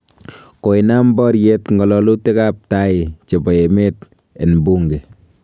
Koinaam boriet ngololutiik ab tai chebo emet en Bunge.